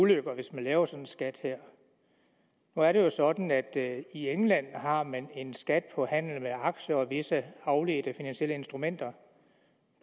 ulykker hvis man laver sådan en skat her nu er det sådan at i england har man en skat på handel med aktier og visse afledte finansielle instrumenter